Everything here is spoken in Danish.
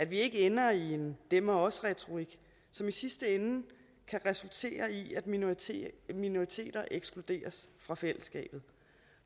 vi ikke ender i en dem og os retorik som i sidste ende kan resultere i at minoriteter minoriteter ekskluderes fra fællesskabet